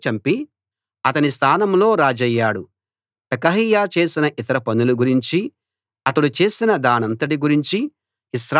పెకహ్యా చేసిన ఇతర పనుల గురించి అతడు చేసిన దానంతటి గురించి ఇశ్రాయేలు రాజుల చరిత్ర గ్రంథంలో రాసి ఉంది